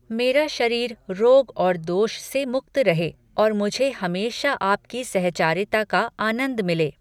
मेरा शरीर रोग और दोष से मुक्त रहे और मुझे हमेशा आपकी सहचारिता का आनंद मिले।